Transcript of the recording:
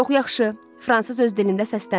Çox yaxşı, fransız öz dilində səsləndi.